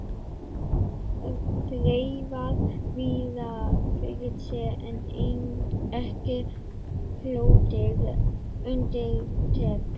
Hann hafði þreifað víða fyrir sér en ekki hlotið undirtektir.